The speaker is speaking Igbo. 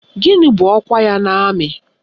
Gịnị bụ ọkwa ya n'amị?